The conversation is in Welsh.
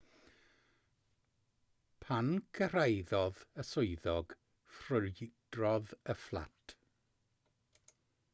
pan gyrhaeddodd y swyddog ffrwydrodd y fflat